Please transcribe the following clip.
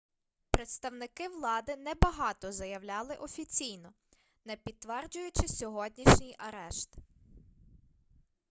представники влади небагато заявляли офіційно не підтверджуючи сьогоднішній арешт